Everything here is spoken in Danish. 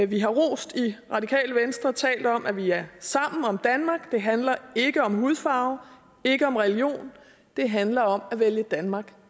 vi har rost i radikale venstre talt om at vi er sammen om danmark det handler ikke om hudfarve ikke om religion det handler om at vælge danmark